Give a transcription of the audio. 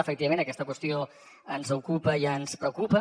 efectivament aquesta qüestió ens ocupa i ens preocupa